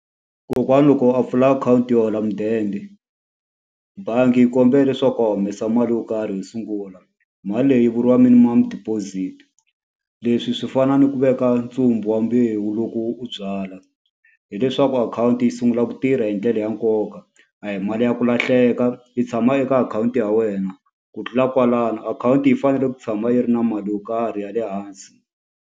Kokwana loko a pfula akhawunti yo hola mudende, bangi yi kombela leswaku a humesa mali yo karhi yo sungula. Mali leyi vuriwa minimam-u deposit. Leswi swi fana ni ku veka ntsumbu wa mbewu lowu ku u byala. Hileswaku akhawunti yi sungula ku tirha hi ndlela ya nkoka, a hi mali ya ku lahleka. Yi tshama eka akhawunti ya wena, ku tlula kwalano akhawunti yi fanele ku tshama yi ri na mali yo karhi ya le hansi.